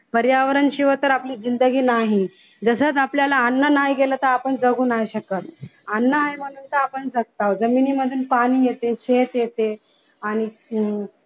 पर्यावरण शिवाय तर आपली जिंदगी नाही तसंच आपल्याला अन्न नाही गेलं तर आपण जगु नाही शकत अन्न आहे म्हणून तर आपण जगत आहोत. जमिनीमधून पाणी येते शेत येते आणि